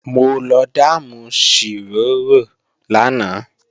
Mo lọ dáàmù ṣìrórò lánàá